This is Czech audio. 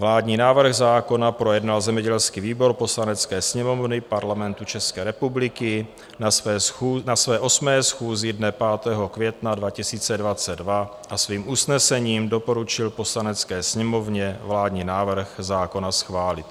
Vládní návrh zákona projednal zemědělský výbor Poslanecké sněmovny Parlamentu České republiky na své 8. schůzi dne 5. května 2022 a svým usnesením doporučil Poslanecké sněmovně vládní návrh zákona schválit.